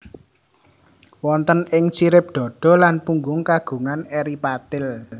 Wonten ing sirip dada lan punggung kagungan eri patil